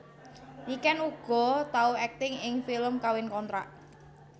Niken uga tau akting ing film Kawin Kontrak